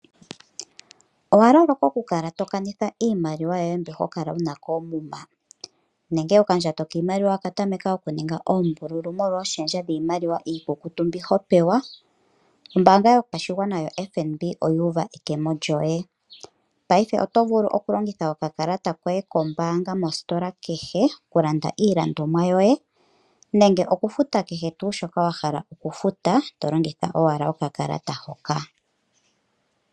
Owa loloka oku kala to kanitha iimaliwa yoye mbyoka hokala wuna koomuma? Nenge okandjato kiimaliwa oka tameka oku ninga oombululu molwa ooshendja dhiimaliwa iikukutu mbyoka ho pewa? Ombanga yo tango yopashingwa ano FNB oyuuva ekemo lyoye. Paife oto vulu oku longitha oka kalata koye koombanga mositola kehe oku landa iilandwomwa yoye nenge oku futa kehe tuu shoka wahala oku futa to longitha wala oka kalata hoka.